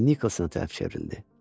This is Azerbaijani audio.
və Nikolsona tərəf çevrildi.